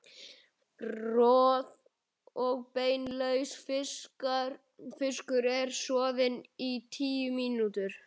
Roð- og beinlaus fiskur er soðinn í tíu mínútur.